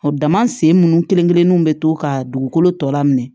Dama sen munnu kelen kelenw be to ka dugukolo tɔ lamin